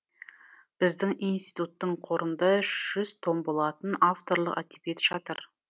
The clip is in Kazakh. біздің институттың қорында жүз том болатын авторлық әдебиет жатыр